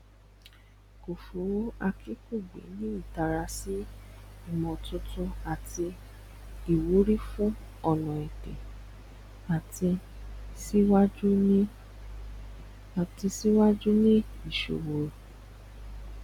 kòfó akínkùgbé ní ìtara sí ìmòtuntun àti ìwúrí fún ọnà ẹdá àti síwájú ní àti síwájú ní ìṣowó